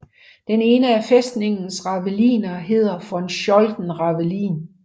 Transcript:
Den ene af fæstningens raveliner hedder Von Scholten Ravelin